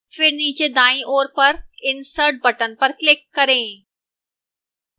फिर नीचे दाईं ओर पर insert button पर click करें